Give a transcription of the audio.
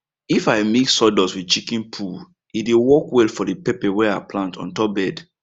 if i mix sawdust with chicken poo e dey work well for the pepper wey i plant on top bed